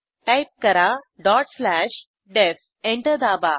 type करा dot slash DEF enter दाबा